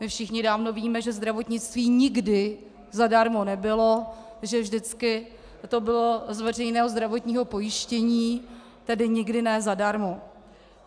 My všichni dávno víme, že zdravotnictví nikdy zadarmo nebylo, že vždycky to bylo z veřejného zdravotního pojištění, tedy nikdy ne zadarmo.